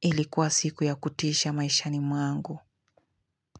ilikuwa siku ya kutisha maishani mwangu.